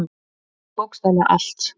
Hann veit bókstaflega allt.